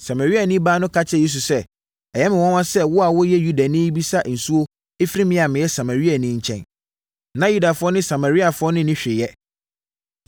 Samariani baa no ka kyerɛɛ Yesu sɛ, “Ɛyɛ me nwanwa sɛ wo a woyɛ Yudani rebisa nsuo afiri me a meyɛ Samariani nkyɛn.” Na Yudafoɔ ne Samariafoɔ nni hwee yɛ.